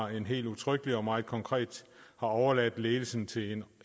helt udtrykkeligt og meget konkret har overladt ledelsen til